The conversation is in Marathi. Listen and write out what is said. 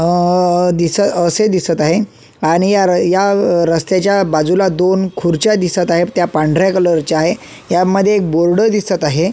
अ दिस असे दिसत आहे आणि या या रस्त्याच्या बाजूला दोन खुर्च्या दिसत आहे त्या पांढऱ्या कलरच्या आहे यामध्ये एक बोर्ड दिसत आहे.